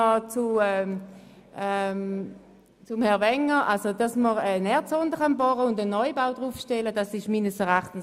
Noch zu Herrn Wenger: Meines Erachtens wäre es neu, dass man keine Erdsonde bohren und einen Neubau darauf stellen dürfte.